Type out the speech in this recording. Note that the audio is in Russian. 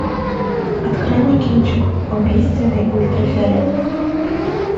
открой мне кинчик убийственный ультрафиолет